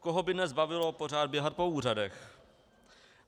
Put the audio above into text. Koho by dnes bavilo pořád běhat po úřadech?